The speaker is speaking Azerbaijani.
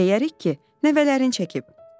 Deyərik ki, nəvələrin çəkib.